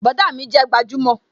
Bọ̀dá mi jẹ́ gbajúmò